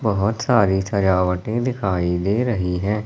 बहोत सारी सजावटे दिखाई दे रही हैं।